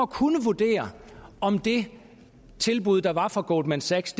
kunne vurdere om det tilbud der var fra goldman sachs